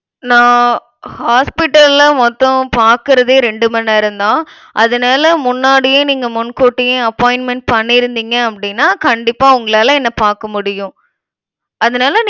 நான் hospital ல மொத்தம் பாக்கிறதே ரெண்டு மணி நேரம் தான். அதனால முன்னாடியே நீங்க முன்கூட்டியே appointment பண்ணியிருந்தீங்க அப்டினா கண்டிப்பா உங்களால என்னை பார்க்க முடியும். அதனால